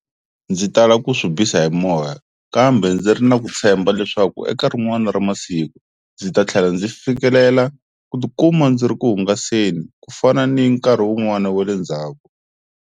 Ndzi tala ku swi bisa hi moya kambe ndzi ri na ku tshemba leswaku eka rin'wani ra masiku ndzi ta tlhela ndzi fikelela ku tikuma ndzi ri ku hungaseni ku fana ni nkarhi wun'wani wa le ndzhaku.